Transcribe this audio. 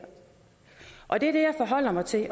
og det er det jeg forholder mig til